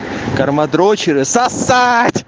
карма дрочеры сосать